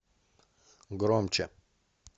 громче